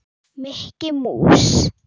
Mikki mús.